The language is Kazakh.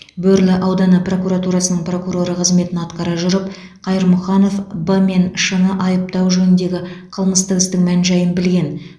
бөрлі ауданы прокуратурасының прокуроры қызметін атқара жүріп қайырмұханов б мен ш ны айыптау жөніндегі қылмыстық істің мән жайын білген